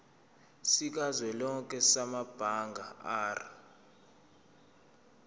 sikazwelonke samabanga r